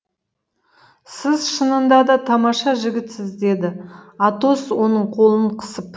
сіз шынында да тамаша жігітсіз деді атос оның қолын қысып